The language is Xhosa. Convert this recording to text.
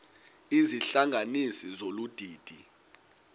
izihlanganisi zolu didi